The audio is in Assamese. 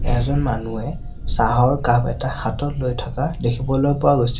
এজন মানুহে চাহৰ কাপ এটা হাতত লৈ থকা দেখিবলৈ পোৱা গৈছে।